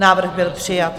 Návrh byl přijat.